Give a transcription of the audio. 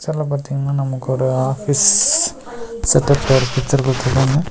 பாத்தீங்கன்னா நமக்கு ஒரு ஆஃபீஸ் செட் அப்ல ஒரு பிச்சர் குடுத்துருக்காங்க.